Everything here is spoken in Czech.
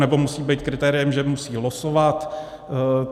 Nebo musí být kritériem, že musí losovat?